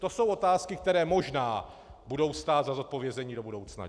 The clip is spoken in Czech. To jsou otázky, které možná budou stát za zodpovězení do budoucna.